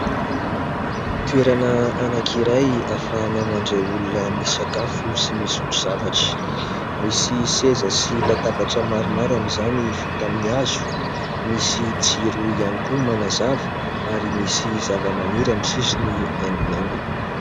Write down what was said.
Toerana anakiray ahafahana mandray olona misakafo sy misotro zavatra. Misy seza sy latabatra maromaro amin' izany vita amin' ny hazo misy jiro ihany koa manazava ary misy zava-maniry amin' ny sisiny haingonaingony.